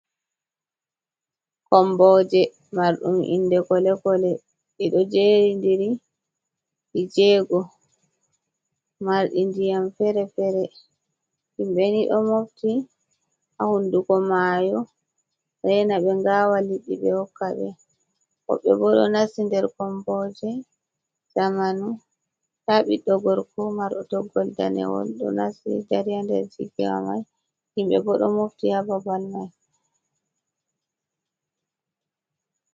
Komboje marɗum inde kole-kole. Ɗi ɗo jeeri ndiri ɗii jego, marɗi ndiƴam feere-feere. Himbe ni ɗo mofti haa hunduko mayo, reena ɓe ngaawa liɗɗi ɓe hokka ɓe. Woɓɓe bo, ɗo nasti nder komboje zamanu. Nda ɓiɗɗo gorko marɗo toggowol danewol, ɗo nasti dari haa nder ciki wa mai, himɓe bo ɗo mofti haa babal mai.